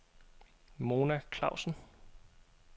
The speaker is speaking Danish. Mona Klausen